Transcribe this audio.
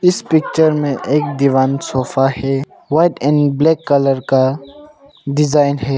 इस पिक्चर में एक दीवान सोफा है ब्लैक कलर का डिजाइन है।